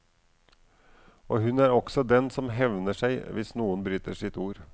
Og hun er også den som hevner seg hvis noen bryter sitt ord.